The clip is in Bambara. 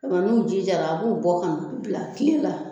Nga n'u ji jara a b'u bɔ ka n'u bila kile la